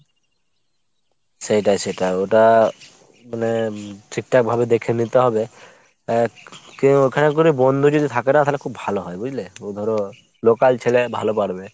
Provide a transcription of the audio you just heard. সেইটাই সেইটাই ওটা মানে ঠিকঠাকভাবে দেখে নিতে হবে। কেউ ওখানে যদি বন্ধু যদি থাকে না তাহলে ভালো হয় বুঝলে ? তো ধরো local ছেলে ভালো পারবে।